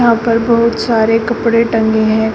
पर बहुत सारे कपड़े टंगे हैं।